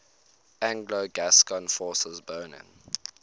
anglo gascon forces burning